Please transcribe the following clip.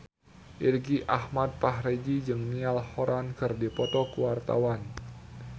Irgi Ahmad Fahrezi jeung Niall Horran keur dipoto ku wartawan